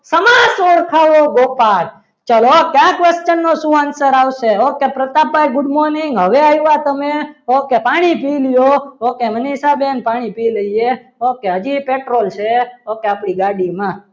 સમાજ ઓળખાવો ગોપાલ ચલો કયા question નો શું answer આવે okay પ્રતાપભાઈ good morning હવે આવ્યા તમે ઓકે પાણી પી લો કે મનિષાબેન પાણી પી લેજે okay હજી એ petrol છે okay આપણી ગાડીમાં